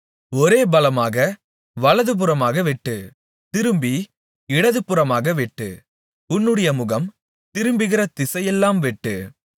ஒரே பலமாக வலதுபுறமாக வெட்டு திரும்பி இடதுபுறமாகவும் வெட்டு உன்னுடைய முகம் திரும்புகிற திசையெல்லாம் வெட்டு